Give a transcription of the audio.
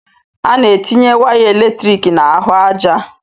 Ana etinye waya eletrik n'ahụ aja.